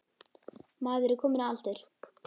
Maður er kominn á aldur.